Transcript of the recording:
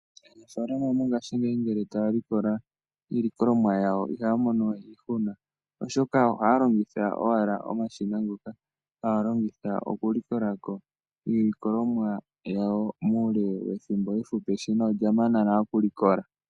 Aanfalama mongaaashingeyi ngele taya likola iilikolomwa yawo ihaya mono we iihuna oshoka ohaya longitha owala omashina ngoka haya longitha okuli kola ko iilikolomwa yawo muule wethimbo ehupi lyo eshina olya mana nale okuli kola.